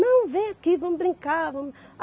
Não, vem aqui, vamos brincar, vamos.